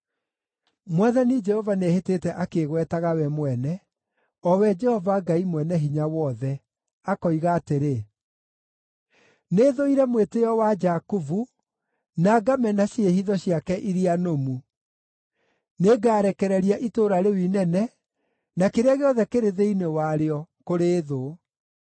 Mwathani Jehova nĩehĩtĩte akĩĩgwetaga we mwene, o we Jehova Ngai Mwene-Hinya-Wothe, akoiga atĩrĩ: “Nĩthũire mwĩtĩĩo wa Jakubu, na ngamena ciĩhitho ciake iria nũmu; nĩngarekereria itũũra rĩu inene na kĩrĩa gĩothe kĩrĩ thĩinĩ warĩo kũrĩ thũ.”